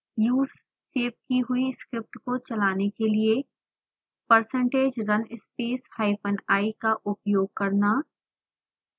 use save की हुई script को चलाने के लिए percentage run space hyphen i का उपयोग करना